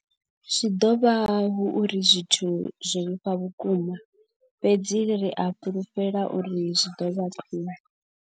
Zwi ḓo vha hu uri zwithu zwo vhifha vhukuma, fhedzi ri a fhulufhela uri zwi ḓo vha khwiṋe.